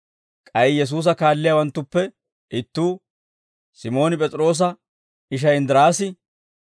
K'ay Yesuusa kaalliyaawanttuppe ittuu, Simooni P'es'iroosa ishay Inddiraasi,